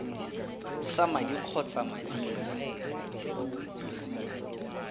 sa madi kgotsa madi mo